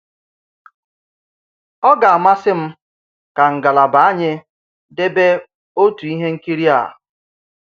Ọ̀ gà-àmàsì m kà ngàlàbà ànyì dèbè òtù ìhè ǹkìrì à.